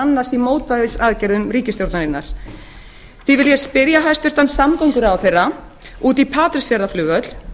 annars í mótvægisaðgerðum ríkisstjórnarinnar því vil ég spyrja hæstvirtan samgönguráðherra út í patreksfjarðarflugvöll